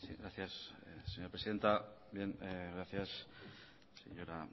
gracias señora presidenta señora